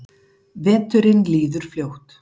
Veturinn líður fljótt.